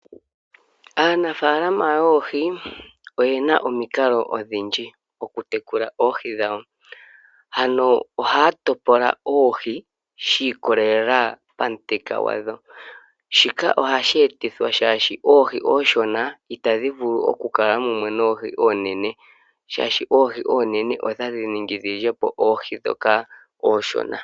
Aanafalama yoohi oyena omikalo odhindji oku tekula oohi dhawo. Ano oha topola oohi shi ikolelela pamuthika gwadho. Shika oha shi etithwa shaashi oohi onshona itadhi vulu oku kala mumwe noohi oonene. Shaashi oohi oonene otadhi ningi dhilyepo oohi dhoka oshona.